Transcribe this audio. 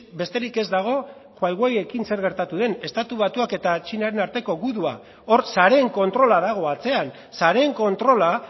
besterik ez dago huaweiekin zer gertatu den estatu batuak eta txinaren arteko gudua hor sareen kontrola dago atzean sareen kontrola